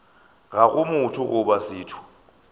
ga go motho goba setho